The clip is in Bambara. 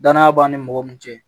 Danaya b'an ni mɔgɔ min cɛ